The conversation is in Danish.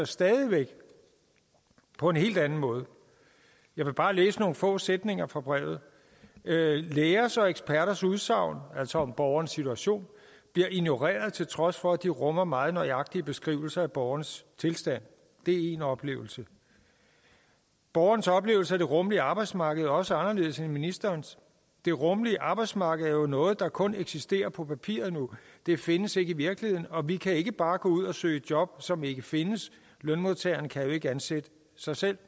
stadig væk på en hel anden måde jeg vil bare læse nogle få sætninger fra brevet lægers og eksperters udsagn altså om borgerens situation bliver ignoreret til trods for at de rummer meget nøjagtige beskrivelser af borgernes tilstand det er én oplevelse borgernes oplevelse af det rummelige arbejdsmarked er også anderledes end ministerens det rummelige arbejdsmarked er jo noget der kun eksisterer på papiret nu det findes ikke i virkeligheden og vi kan ikke bare gå ud og søge job som ikke findes lønmodtagere kan jo ikke ansætte sig selv